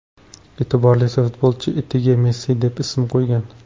E’tiborlisi, futbolchi itiga Messi deb ism qo‘ygan.